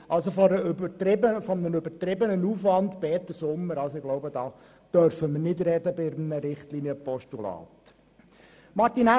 Peter Sommer, von einem übertriebenen Aufwand dürfen wir bei einem Richtlinienpostulat wohl nicht sprechen.